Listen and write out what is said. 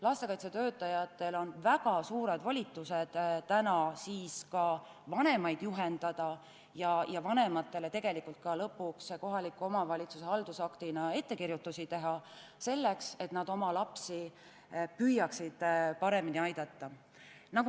Lastekaitsetöötajatel on väga suured volitused vanemaid juhendada ja neile lõpuks kohaliku omavalitsuse haldusaktina ka ettekirjutusi teha, et nad püüaksid oma lapsi paremini aidata.